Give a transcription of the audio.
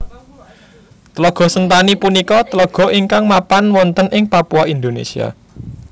Tlaga Sentani punika tlaga ingkang mapan wonten ing Papua Indonesia